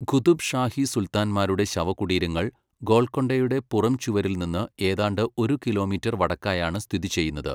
ഖുതുബ് ഷാഹി സുൽത്താന്മാരുടെ ശവകുടീരങ്ങൾ ഗോൽക്കൊണ്ടയുടെ പുറംചുവരിൽ നിന്ന് ഏതാണ്ട് ഒരു കിലോമീറ്റർ വടക്കായാണ് സ്ഥിതി ചെയ്യുന്നത്.